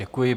Děkuji.